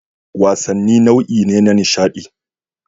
Wasanni nau'i ne na nishaɗi